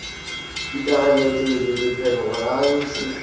digateledi lephegelelo ya go se